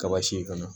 Kaba si in kana